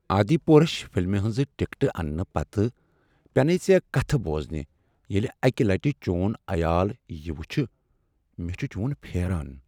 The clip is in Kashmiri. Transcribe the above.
آدی پورش فلمہ ہٕنٛزٕ ٹکٹہٕ انٛنہٕ پتہٕ پینے ژےٚ کتھٕ بوزنہ ییٚلہ اکہ لٹہ چون عیال یہ وٕچھ۔ مےٚ چھ چون پھیران۔